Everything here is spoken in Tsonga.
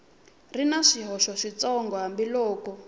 ri na swihoxo switsongo hambiloko